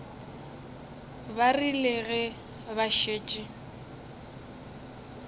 ba rile ge ba šetše